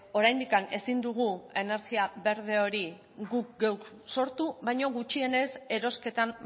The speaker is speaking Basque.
oraindik ezin dugu energia berde hori guk geuk sortu baina gutxienez erosketan